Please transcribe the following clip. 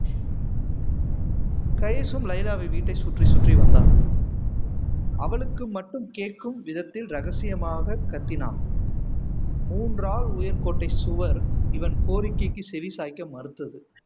கைஸும் லைலாவை வீட்டை சுற்றி சுற்றி வந்தான் அவளுக்கு மட்டும் கேட்கும் விதத்தில் ரகசியமாக கத்தினான் மூன்று ஆள் உயர் கோட்டை சுவர் இவன் கோரிக்கைக்கு செவிசாய்க்க மறுத்தது